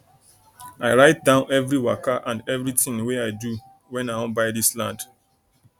i write down everi waka and every thing wey i do when i wan buy dis land